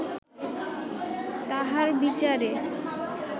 তাঁহার বিচারে